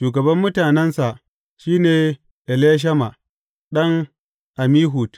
Shugaban mutanensa, shi ne Elishama ɗan Ammihud.